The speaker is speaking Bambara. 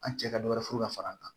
An cɛ ka dɔwɛrɛ furu ka far'an kan